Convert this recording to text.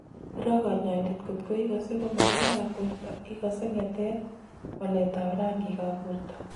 Iro kanyaindet kotko ikase komakararan borto ikase nge�tet ,waleet ab rangik ab borto